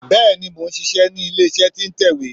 Bẹ́ẹ̀ni mò n ṣíṣẹ ní ilé iṣẹ́ tí n tẹ̀wé